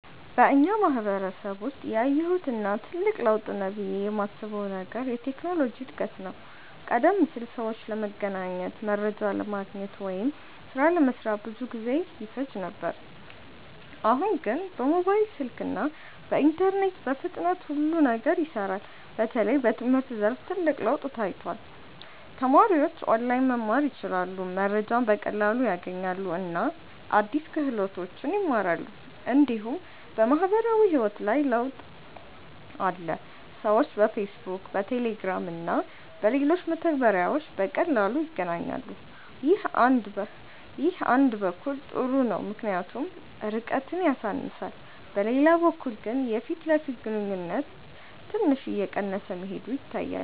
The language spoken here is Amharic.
በእኛ ማህበረሰብ ውስጥ ያየሁት እና ትልቅ ለውጥ ነው ብዬ የማስበው ነገር የቴክኖሎጂ እድገት ነው። ቀደም ሲል ሰዎች ለመገናኘት፣ መረጃ ለማግኘት ወይም ሥራ ለመስራት ብዙ ጊዜ ይፈጅ ነበር። አሁን ግን በሞባይል ስልክ እና በኢንተርኔት በፍጥነት ሁሉ ነገር ይሰራል። በተለይ በትምህርት ዘርፍ ትልቅ ለውጥ ታይቷል። ተማሪዎች ኦንላይን መማር ይችላሉ፣ መረጃ በቀላሉ ያገኛሉ እና አዲስ ክህሎቶችን ይማራሉ። እንዲሁም በማህበራዊ ህይወት ላይ ለውጥ አለ። ሰዎች በፌስቡክ፣ በቴሌግራም እና በሌሎች መተግበሪያዎች በቀላሉ ይገናኛሉ። ይህ አንድ በኩል ጥሩ ነው ምክንያቱም ርቀትን ያሳንሳል፤ በሌላ በኩል ግን የፊት ለፊት ግንኙነት ትንሽ እየቀነሰ መሄዱ ይታያል።